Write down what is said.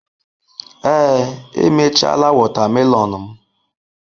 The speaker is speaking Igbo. Ee, emechaala wotamelon mu.